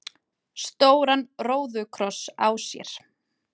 stóran róðukross á sér.